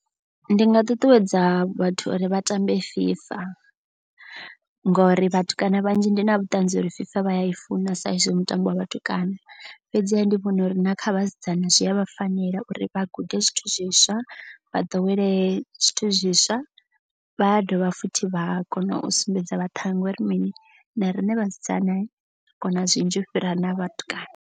Ndi nga ṱuṱuwedza vhathu uri vha tambe FIFA. Ngori vhatukana vhanzhi ndi na vhuṱanzi uri FIFA vha ya i funa sa izwi mutambo wa vhatukana. Fhedziha ndi vhona uri na kha vhasidzana zwi avha fanela uri vha gude zwithu zwiswa. Vha ḓowele zwithu zwiswa vha dovha futhi vha kona u sumbedza vhaṱhanga uri mini na riṋe vhasidzana kona zwinzhi u fhira na vhatukana.